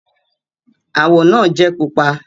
Àwọ̀ náà jẹ́ pupa